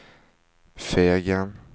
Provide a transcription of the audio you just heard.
Fegen